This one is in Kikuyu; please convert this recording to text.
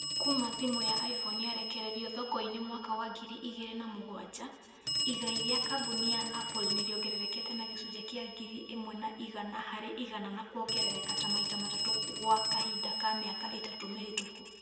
kuma thimũ ya iphone yarekererio thoko-ĩnĩ mwaka wa ngiri igiri na mũgwanja, igai rĩa kambuni ya Apple nĩ rĩongererekete na gĩcunjĩ kĩa ngiri imwe na igana hari igana na kuongerereka ta maita matatũ gwa kahinda ka miaka ĩtatu mĩhĩtũku